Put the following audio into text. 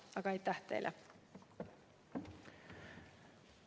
Aga aitäh teile!